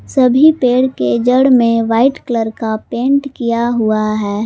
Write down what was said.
सभी पेड़ के जड़ में वाइट कलर का पेंट किया हुआ है।